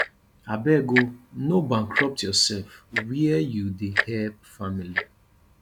abeg o no bankrupt yoursef where you dey help family